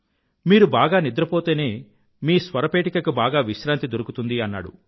మీరు బాగా నిద్ర పోతేనే మీ స్వరపేటికకి బాగా విశ్రాంతి దొరుకుతుంది అన్నాడు